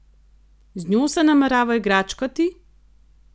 Z njo se namerava igračkati?